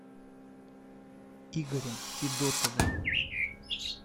игорем федотовым